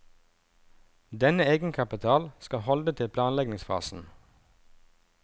Denne egenkapital skal holde til planlegningsfasen.